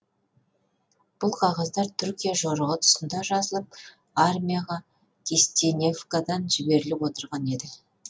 бұл қағаздар түркия жорығы тұсында жазылып армияға кистеневкадан жіберіліп отырған еді